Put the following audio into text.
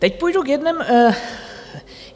Teď půjdu k jednomu...